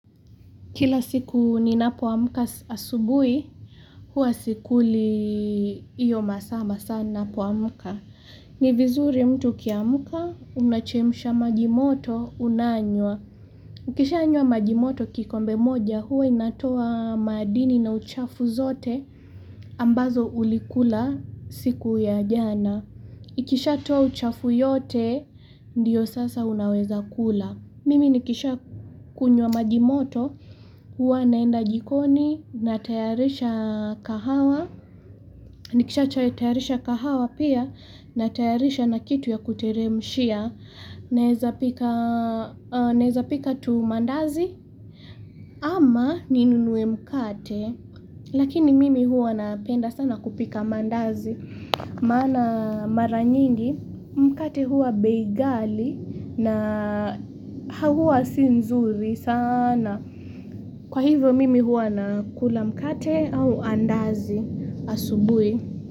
Kila siku ninapoamka asubui, huwa sikuli iyo masaa masaa ninapoamka. Ni vizuri mtu ukiamuka, una chemisha majimoto unanywa. Ukisha yanywa majimoto kikombe moja, huwa inatoa madini na uchafu zote ambazo ulikula siku ya jana. Ikisha toa uchafu yote, ndiyo sasa unaweza kula. Mimi nikisha kunywa majimoto, huwa naenda jikoni, natayarisha kahawa, nikisha cha tayarisha kahawa pia, natayarisha na kitu ya kuteremshia, naeza pika tu mandazi, ama ninunue mkate, lakini mimi huwa napenda sana kupika mandazi. Maana maranyingi mkate huwa bei gali na hauwa si nzuri sana. Kwa hivyo mimi huwa nakula mkate au andazi asubui.